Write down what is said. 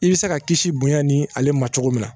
I bɛ se ka kisi bonya ni ale ma cogo min na